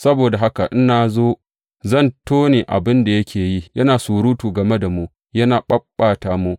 Saboda haka in na zo, zan tone abin da yake yi, yana surutu game da mu, yana ɓaɓɓata mu.